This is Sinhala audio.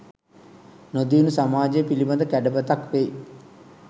නො දියුණු සමාජය පිළිබඳ කැඩපතක් වෙයි.